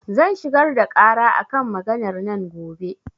Zan shigar da ƙara a kan maganar nan gobe.